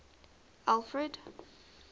alfred